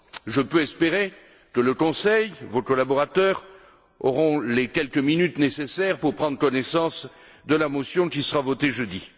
J'ose espérer que le Conseil vos collaborateurs aura les quelques minutes nécessaires pour prendre connaissance de la motion qui sera votée jeudi.